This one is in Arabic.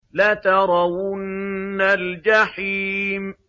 لَتَرَوُنَّ الْجَحِيمَ